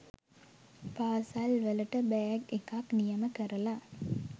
පාසල්වලට bag එකක්‌ නියම කරලා